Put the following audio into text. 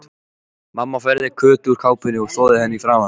Mamma færði Kötu úr kápunni og þvoði henni í framan.